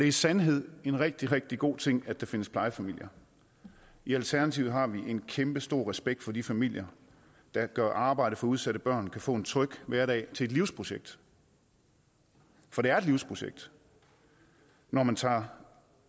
i sandhed en rigtig rigtig god ting at der findes plejefamilier i alternativet har vi en kæmpestor respekt for de familier der gør arbejdet for at udsatte børn kan få en tryg hverdag til et livsprojekt for det er et livsprojekt når man tager